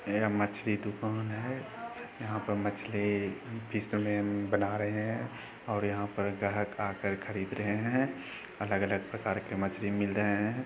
यहाँ मछली दुकान है। यहाँ पर मछली जिसमे बना रहे है और यहाँ पर ग्राहक आकर खरीद रहे है। अलग अलग प्रकार की मछली मिल रहे है।